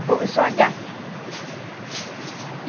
Eu sou a gata.